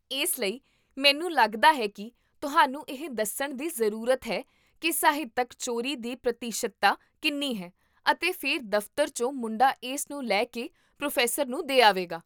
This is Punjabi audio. ਇਸ ਲਈ, ਮੈਨੂੰ ਲੱਗਦਾ ਹੈ ਕਿ ਤੁਹਾਨੂੰ ਇਹ ਦੱਸਣ ਦੀ ਜ਼ਰੂਰਤ ਹੈ ਕਿ ਸਾਹਿਤਕ ਚੋਰੀ ਦੀ ਪ੍ਰਤੀਸ਼ਤਤਾ ਕਿੰਨੀ ਹੈ, ਅਤੇ ਫਿਰ ਦਫਤਰ ਚੋਂ ਮੁੰਡਾ ਇਸ ਨੂੰ ਲੈ ਕੇ ਪ੍ਰੋ ਨੂੰ ਦੇ ਆਵੇਗਾ